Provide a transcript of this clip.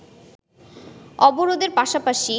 অবরোধের পাশাপাশি